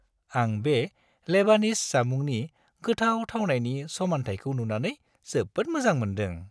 आं बे लेबानिज जामुंनि गोथाव थावनायनि समान्थायखौ नुनानै जोबोद मोजां मोनदों।